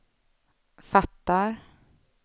fattar